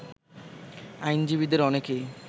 আইনজীবীদের অনেকেই